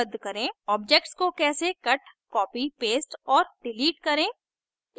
objects को कैसे cut copy paste और डिलीट करें